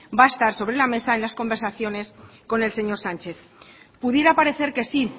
va a estar sobre la mesa en las conversaciones con el señor sánchez pudiera parecer que sí